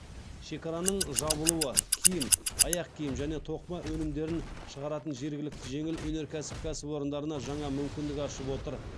шекараның шабылуы киім аяқкиім және тоқыма өнімдерін шығаратын жергілікті жеңіл өнеркәсіп кәсіпорындарына жаңа мүмкіндік ашып отыр